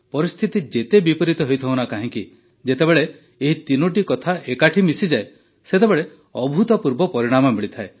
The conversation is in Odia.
ପରିସ୍ଥିତି ଯେତେ ବିପରୀତ ହୋଇଥାଉ ନା କାହିଁକି ଯେତେବେଳେ ଏହି ତିନିଟି କଥା ଏକାଠି ମିଶିଯାଏ ସେତେବେଳେ ଅଭୂତପୂର୍ବ ପରିଣାମ ମିଳିଥାଏ